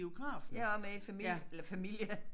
Jeg også med i familie eller familie